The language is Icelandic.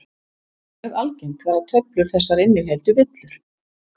Mjög algengt var að töflur þessar innihéldu villur.